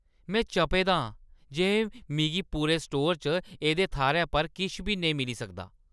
में चपे दा आं जे मिगी पूरे स्टोरै च एह्दे थाह्‌रै पर किश बी नेईं मिली सकदा।